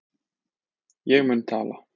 Ég mun tala.